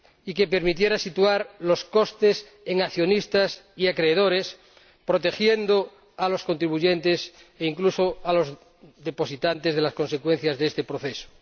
que permitiera hacer recaer los costes en accionistas y acreedores, protegiendo a los contribuyentes e incluso a los depositantes de las consecuencias de este proceso.